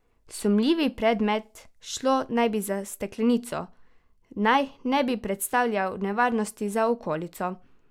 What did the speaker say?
Sumljivi predmet, šlo naj bi za steklenico, naj ne bi predstavljal nevarnosti za okolico.